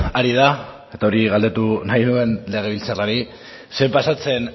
ari da eta hori galdetu nahi nuen legebiltzarrari zer pasatzen